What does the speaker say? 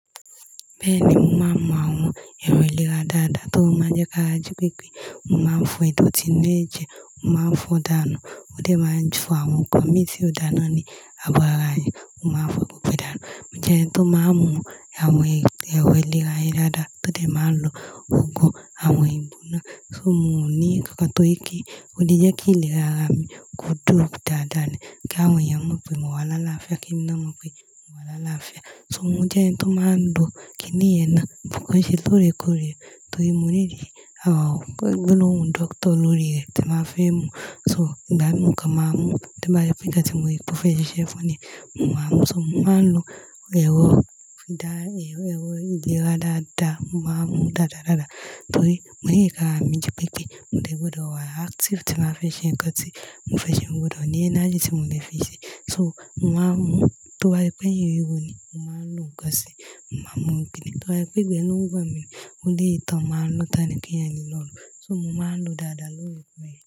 Bẹ́ẹ̀ni, mò ma ń mú àwọn èrò ìlera dáadáa tó máa ń jẹ kára ji pípé. Mò máa ń fo idọ̀tí inu èjè, mò máa ń fo dànù. Ó dè máa ń fo àwọn nkan mi tí ó dà ná ní abọ́ ara rẹ̀. Mò máa ń fo gbogbo e dànù. O jẹ́ oun tó máa ń mú àwọn èrò ìlera yìí dáadáa, tó dé máa lọ ògùn àwọn igbona. So mò ní kankan tóri pe o wọ́n di jẹ́ kí ìlera rà mí ko duro dáadáa ni kí àwọn èèyàn mọ̀ pé mò wa lálàáfíà kí emi naa mọ̀ pé mò wa lálàáfíà. So mò jẹ́ ẹni tó máa ń lo kiní yen náà but ko n ṣe lóòrèkóòrè torí mò need àwọn gbogbo lóhùn dókítà lóòrè tí màá fẹ́ mú. So ìgbà mìíràn mo kàn máa mú to bá ye pẹ́ nkán tí mò rí pe o fẹ̀ siṣẹ́ fún ní, mò máa mú. So mò máa ń lo èrò fídà, èrò ìlera dáadáa. Mò máa ń mú dáadáadáa torí mò ní nkan ara mí ji pípé. Mo dé gbọdọ̀ wà active tí n bàá fẹ́ ṣe ń kán tí mò fẹ́ ṣe mo gbọdọ̀ ní energy tí mò lè fi ṣe. So mò máa ń mú tó bá se pẹ́ eyin n ro mi, mò máa ń lo nkan sí, mò máa ń mú kiní tó bá se pé igbẹ̀ ló n gbọ̀n mí mò ní èyi to n ma ń lọ tàní kí ẹ̀yan lè lọ lò. So mò máa ń lo dáadáa lóòrèkóòrè.